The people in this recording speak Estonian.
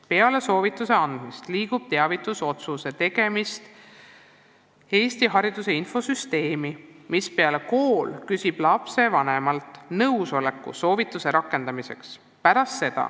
Peale soovituse andmist liigub teavitusotsus Eesti Hariduse Infosüsteemi, mispeale kool küsib lapsevanemalt nõusoleku soovituse rakendamiseks.